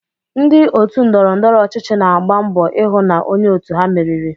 Ndị otu ndọrọndọrọ ọchịchị na-agba mbọ ịhụ na onye òtù ha meriri.